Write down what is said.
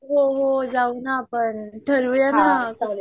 हो हो जाऊना आपण ठरवूया ना